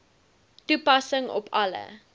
toepassing op alle